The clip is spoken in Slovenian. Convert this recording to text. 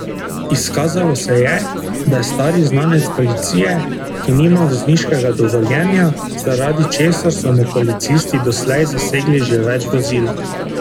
Izkazalo se je, da je stari znanec policije, ki nima vozniškega dovoljenja, zaradi česar so mu policisti doslej zasegli že več vozil.